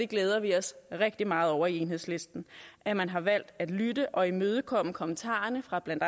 glæder vi os rigtig meget over i enhedslisten at man har valgt at lytte og imødekomme kommentarerne fra blandt